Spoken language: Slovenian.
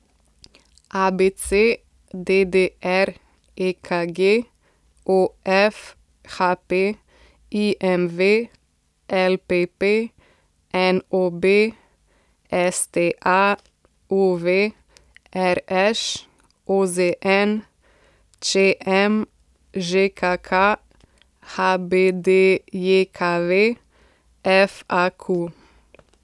ABC, DDR, EKG, OF, HP, IMV, LPP, NOB, STA, UV, RŠ, OZN, ČM, ŽKK, HBDJKV, FAQ.